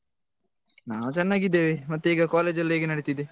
ನಾವ್ ಚೆನ್ನಾಗಿದ್ದೇವೆ ಮತ್ತೆ ಈಗ college ಎಲ್ಲ ಹೇಗೆ ನಡೀತಾ ಇದೆ.